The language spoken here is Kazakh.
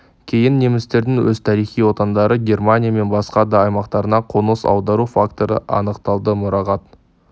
кейін немістердің өз тарихи отандары германия мен басқа да аймақтарына қоныс аудару факторы анықталды мұрағат